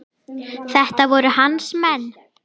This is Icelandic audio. Þetta voru hans menn.